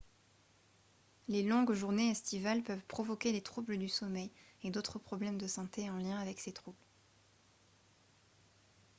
les longues journées estivales peuvent provoquer des troubles du sommeil et d'autres problèmes de santé en lien avec ces troubles